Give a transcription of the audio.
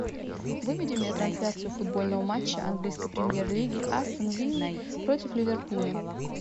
выведи мне трансляцию футбольного матча английской премьер лиги астон виллы против ливерпуля